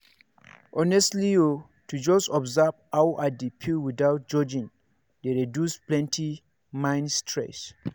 honestly o to just observe how i dey feel without judging dey reduce plenty mind stress.